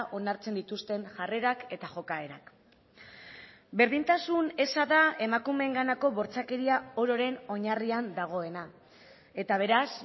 onartzen dituzten jarrerak eta jokaerak berdintasun eza da emakumeenganako bortxakeria ororen oinarrian dagoena eta beraz